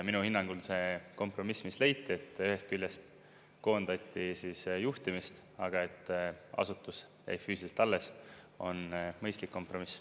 Minu hinnangul see kompromiss, mis leiti, et ühest küljest koondati juhtimist, aga et asutus jäi füüsiliselt alles, on mõistlik kompromiss.